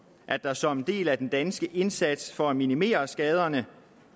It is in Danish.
at der som en del af den danske indsats for at minimere skaderne